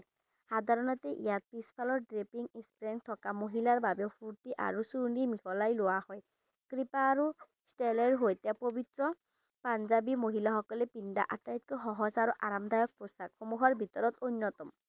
সাধাৰণতে ইয়াত পিছফালৰ drepping strength থকা মহিলাৰ বাবেও ফুৰ্তি আৰু চুৰনি মিহলাই লোৱা হয় কৃপা আৰু তেলৰ সৈতে পবিত্ৰ পাঞ্জাবী মহিলাসকলে পিন্ধা আটাইতকৈ সহজ আৰু আৰামদায়ক পোছাক সমূহ অন্য়তম